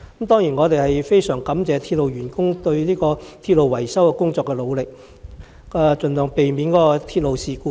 當然，我們非常感謝鐵路員工對鐵路維修工作的努力，盡量避免發生鐵路事故。